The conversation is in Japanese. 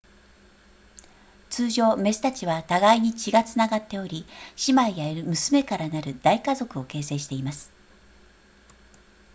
通常メスたちは互いに血がつながっており姉妹や娘からなる大家族を形成しています